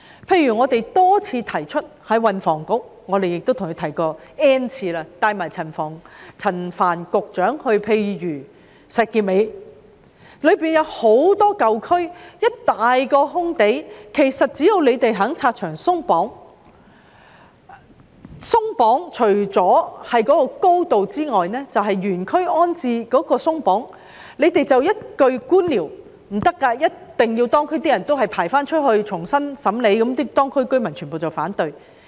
例如，我們多次提出，亦曾 "N 次"向運輸及房屋局提出，甚至帶同陳帆局長前往例如石硤尾，該處屬舊區，又有一大片空地，其實只要政府願意拆牆鬆綁，我所指的"鬆綁"除了是樓宇高度外，便是指原區安置，但政府只會官僚地拋下一句"不行的，一定要當區居民出去一同排隊，重新審理"，結果當區居民當然反對。